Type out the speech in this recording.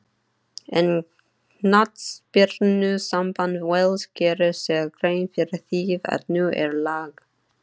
En knattspyrnusamband Wales gerir sér grein fyrir því að nú er lag.